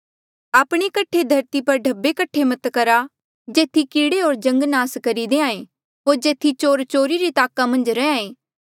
आपणे कठे धरती पर ढब्बे कठे मत करा जेथी कीड़े होर जंग नास करी देहां ऐें होर जेथी चोर चोरी री ताका मन्झ रैंहयां ऐें